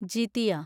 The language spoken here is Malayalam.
ജിതിയ